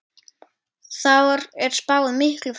Þar er spáð miklu frosti.